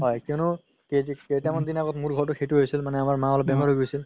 হয় কিয়নো কেইটামান দিন আগতো মোৰ ঘৰতও সেইটো হৈছিলে মনে আমাৰ মাৰ অলপ বেমাৰ হৈ গৈছিল